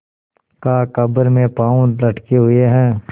कहाकब्र में पाँव लटके हुए हैं